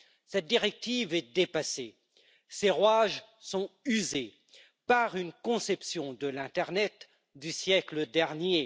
Cette directive est dépassée, ses rouages sont usés par une conception de l'internet du siècle dernier.